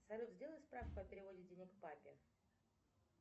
салют сделай справку о переводе денег папе